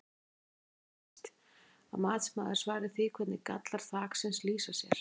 Þess er einnig beiðst að matsmaður svari því hvernig gallar þaksins lýsa sér?